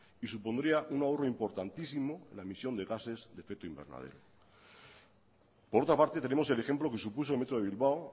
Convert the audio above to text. y supondría un ahorro importantísimo la emisión de gases de efecto invernadero por otra parte tenemos el ejemplo que supuso el metro de bilbao